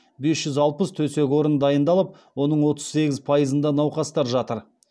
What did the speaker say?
бес жүз алпыс төсек орын дайындалып оның отыз сегіз пайызында науқастар жатыр